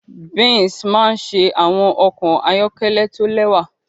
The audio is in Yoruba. Benz maa n ṣe awọn ọkọ ayọkẹlẹ to lẹwa